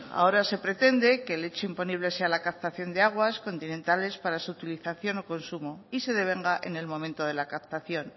ahora se pretende que el hecho imponible sea la captación de aguas continentales para su utilización o consumo y se devenga en el momento de la captación